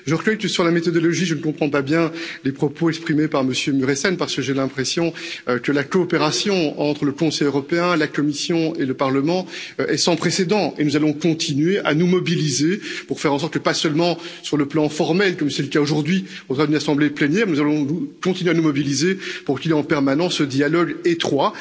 Je reconnais que, sur la méthodologie, je ne comprends pas bien les propos exprimés par M. Mureşan, parce que j'ai l'impression que la coopération entre le Conseil européen, la Commission et le Parlement est sans précédent et nous allons continuer à nous mobiliser pour faire en sorte que, non seulement sur le plan formel, comme c'est le cas aujourd'hui, devant une assemblée plénière, nous allons continuer à nous mobiliser pour qu'il y ait en permanence ce dialogue étroit.